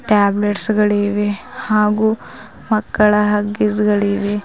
Tablets ಗಳಿವೆ ಹಾಗು ಮಕ್ಕಳ ಹಗ್ಗಿಸಗಳಿವೆ.